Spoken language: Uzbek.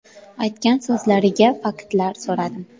Aytgan so‘zlariga faktlar so‘radim.